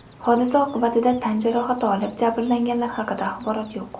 Hodisa oqibatida tan jarohati olib, jabrlanganlar haqida axborot yo‘q.